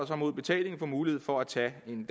mod betaling får mulighed for at tage en